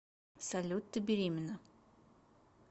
салют ты беременна